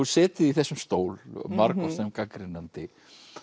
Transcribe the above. setið í þessum stól margoft sem gagnrýnandi